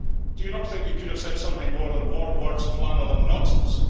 Do you not think you could have said something more than warm words, flannel and nonsense?